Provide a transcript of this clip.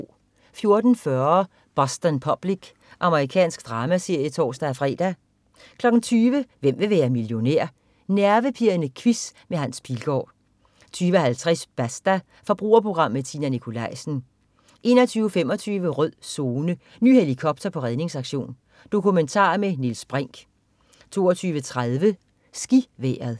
14.40 Boston Public. Amerikansk dramaserie (tors-fre) 20.00 Hvem vil være millionær? Nervepirrende quiz med Hans Pilgaard 20.50 Basta. Forbrugerprogram med Tina Nikolaisen 21.25 Rød Zone: Ny helikopter på redningsaktion. Dokumentar med Niels Brinch 22.30 SkiVejret